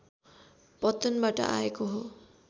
पत्तनबाट आएको हो